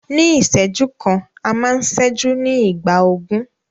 Ní ìṣẹ́jú kan, a máa ń ṣẹ́jú ní ìgbà ogún.